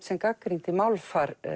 sem gagnrýndi málfar